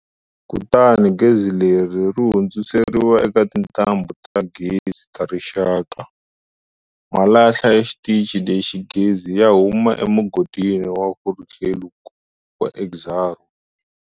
Kutani gezi leri ri hundziseriwa eka tintambhu ta gezi ta rixaka.. Malahla ya xitichi lexa gezi ya huma emugodini wa Grootegeluk wa Exxaro.